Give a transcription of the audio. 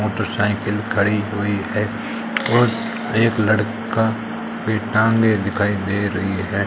Motorcycle खड़ी हुई है और एक लड़का की टांगे दिखाई दे रही है।